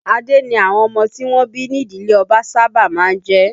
Adé ni àwọn ọmọ tí wọ́n bí ní ìdílé ọba sábà máa ń jẹ́